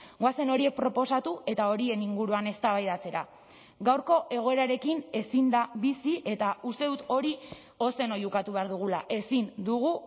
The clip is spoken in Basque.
goazen horiek proposatu eta horien inguruan eztabaidatzera gaurko egoerarekin ezin da bizi eta uste dut hori ozen oihukatu behar dugula ezin dugu